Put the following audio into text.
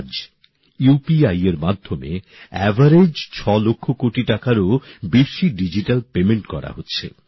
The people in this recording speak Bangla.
আজ ইউপিআই এর মাধ্যমে গড়ে ৬ লক্ষ কোটি টাকারও বেশি ডিজিটাল পেমেন্ট করা হচ্ছে